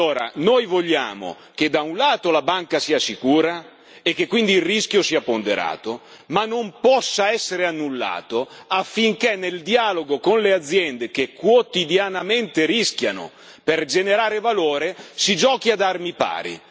Allora, noi vogliamo che, da un lato, la banca sia sicura e che quindi il rischio sia ponderato ma non possa essere annullato, affinché nel dialogo con le aziende che quotidianamente rischiano per generare valore, si giochi ad armi pari.